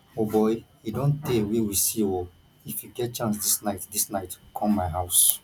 o boy e don tey wey we see oo if you get chance dis night dis night come my house